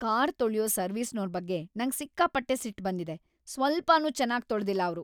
Car ತೊಳ್ಯೋ ಸರ್ವಿಸ್ನೋರ್ ಬಗ್ಗೆ ನಂಗ್ ಸಿಕ್ಕಾಪಟ್ಟೆ ಸಿಟ್ಟ್‌ ಬಂದಿದೆ, ಸ್ವಲ್ಪನೂ ಚೆನಾಗ್‌ ತೊಳ್ದಿಲ್ಲ ಅವ್ರು.